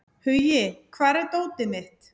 Hugi, hvar er dótið mitt?